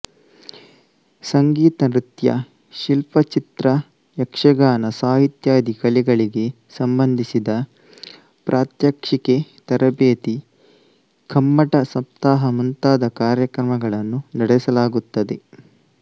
ಸಂಗೀತ ನೃತ್ಯ ಶಿಲ್ಪ ಚಿತ್ರ ಯಕ್ಷಗಾನ ಸಾಹಿತ್ಯಾದಿ ಕಲೆಗಳಿಗೆ ಸಂಬಂಧಿಸಿದ ಪ್ರಾತ್ಯಕ್ಷಿಕೆ ತರಬೇತಿ ಕಮ್ಮಟ ಸಪ್ತಾಹ ಮುಂತಾದ ಕಾರ್ಯಕ್ರಮಗಳನ್ನು ನಡೆಸಲಾಗುತ್ತದೆ